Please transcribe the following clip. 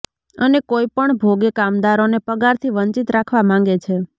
અને કોઈ પણ ભોગે કામદારોને પગારથી વંચિત રાખવા માંગે છે